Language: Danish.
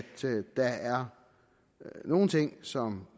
der er nogle ting som